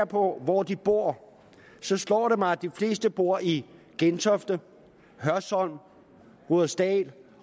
på hvor de bor så slår det mig at de fleste bor i gentofte hørsholm rudersdal